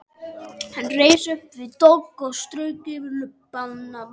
Hann reis upp við dogg og strauk yfir lubbann.